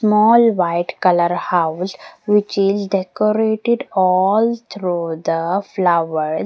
Small white colour house which is decorated all through the flower.